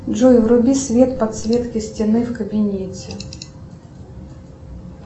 джой вруби свет подсветки стены в кабинете